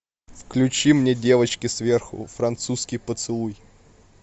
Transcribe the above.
включи мне девочки сверху французский поцелуй